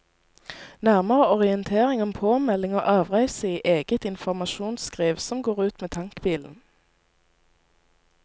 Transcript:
Nærmere orientering om påmelding og avreise i eget informsjonsskriv som går ut med tankbilen.